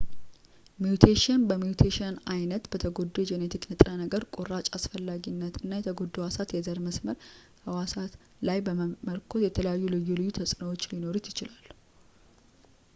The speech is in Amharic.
ሚውቴሽን በሚውቴሽን ዓይነት ፣ በተጎዳው የጄኔቲክ ንጥረ ነገር ቁራጭ አስፈላጊነት እና የተጎዱት ህዋሳት የዘር-መስመር ህዋሳት ላይ በመመርኮዝ የተለያዩ ልዩ ልዩ ተጽዕኖዎች ሊኖሩት ይችላል